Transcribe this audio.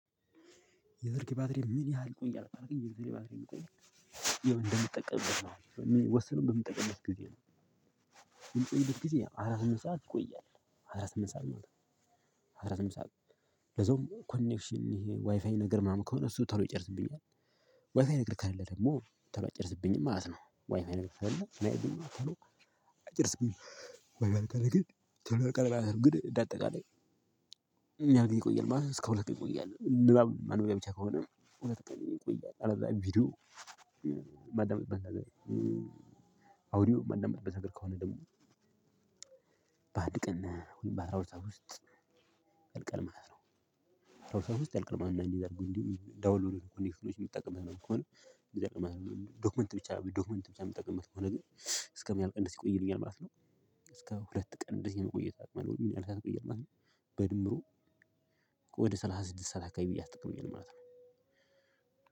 የስልክህ ባትሪ ምን ያህል ይቆያል ካልከኝ? የስልኬ ባትሪ ይቆያል ካልከኝ እንደምጠቀምበት ነው የሚወሰነው በምጠቀምበት ጊዜ። ነው ግን ጊዜ አስራ ስምንት ሰዓት ይቆያል አስራስምንትት ሰዓት ማለት ነው። አራት ሰዓት ሰዓት ለዛውም ኮኔክሽን ይሄ ዋይፋይ ነገር ምናምን ከሆነ እሱ ተለው ይጨርስብኛል። ዋይፋይ ነገር ከሌላ ደግሞ ተሎ አይጨርስብኝም ማለት ነው። ዋይፋይ ነገር ከሌለ ቶሎ አይጨርስብኝም እንደ አጠቃላይ ግን ተለቀ ግን እንደ አጠቃላይ። ምን ያህል ጊዜ ይቆያል ማለት እስከ ሁለት ቀን ይቆያል። ንባብ ማንበቢያ ብቻ ከሆነ ሁለት ቀን ይቆያል። አለዚያ ቪዲዮ ማዳምጥበት ነገር አውዲዮ ማዳምጥበት ነገር ከሆነ ደግሞ በአንድ ቀን በአስራ ሁለት ሰዓት ውስጥ ያልቃል ማለት ነው። በአስራ ሁለት ሰዓት ውስጥ ያልቃል ማለት ነው። እ እንዲሁም ዳውንሎድ ኮኔክሽኖች የምጠቅም ከሆነ የሚጠቅመን ዶክመንት ብቻ ዶክመንት ብቻ የምጠቅምበት ከሆነ ግን እስከሚያልቀን ደስ ይቆይልኛል ማለት ነው። እስከ ሁለት ቀን እንደዚህ ነው የሚቀየው ማለት ነው። በድምሩ ወደ ስላሳ ስድስት ሰዓት አካባቢ ያህል ተጠቅሜያለሁ ማለት ነው።